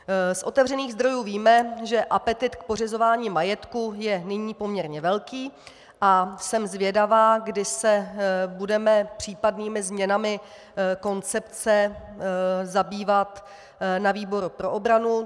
Z otevřených zdrojů víme, že apetyt k pořizování majetku je nyní poměrně velký, a jsem zvědavá, kdy se budeme případnými změnami koncepce zabývat na výboru pro obranu.